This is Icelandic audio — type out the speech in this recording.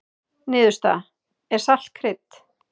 Niðurstaða: Er salt krydd?